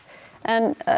en